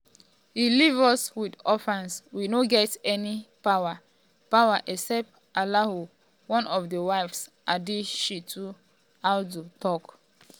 e leave us wit orphans we no get any any power power except allahu" one of di wives hadishetu audu tok.